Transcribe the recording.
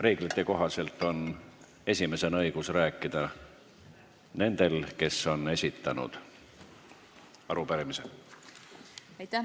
Reeglite kohaselt on esimesena õigus rääkida nendel, kes arupärimise esitasid.